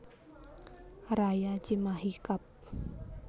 Raya Cimahi Kab